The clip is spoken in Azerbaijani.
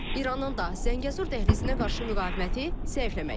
İranın da Zəngəzur dəhlizinə qarşı müqaviməti zəifləməkdədir.